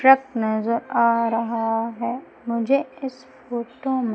truck नज़र आ रहा है मुझे इस फोटो मे--